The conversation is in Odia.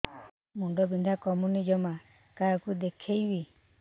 ମୁଣ୍ଡ ବିନ୍ଧା କମୁନି ଜମା କାହାକୁ ଦେଖେଇବି